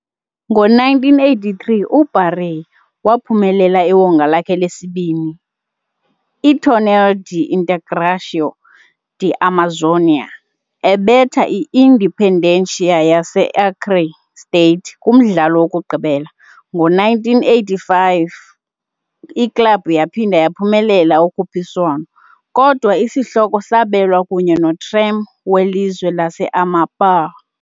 Ngo-1983, uBaré waphumelela iwonga lakhe lesibini, iTorneio de Integração da Amazônia, ebetha i-Independência yase-Acre state kumdlalo wokugqibela. Ngo-1985, iklabhu yaphinda yaphumelela ukhuphiswano, kodwa isihloko sabelwa kunye noTrem, welizwe lase-Amapá.